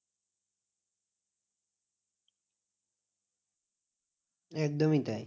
একদমই তাই।